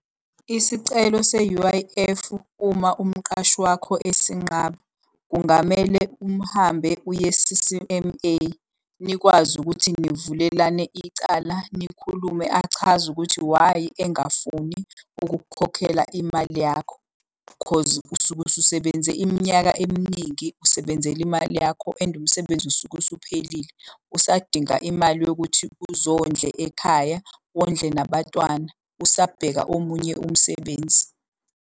Isicelo se-U_I_F uma umqashi wakho esinqala, kungamele umhambe uye-C_C_M_A. Nikwazi ukuthi nivulelane icala nikhulume achaze ukuthi why engafuni ukukukhokhela imali yakho. Cause usuke ususebenze iminyaka eminingi usebenzela imali yakho and umsebenzi usuke usuphelile. Usadinga imali yokuthi uzondle ekhaya, wondle nabatwana usabheka omunye umsebenzi.